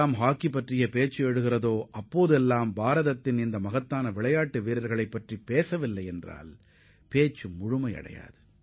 hockey விளையாட்டு பற்றி எப்போது மேற்கோள் காட்டினாலும் நமது சாதனையாளர்களைப் பற்றி குறிப்பிடாமல் அதனை நிறைவு செய்ய முடியாது